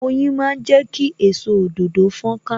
Oyin máa ń jẹ ki èso òdòdó fon ka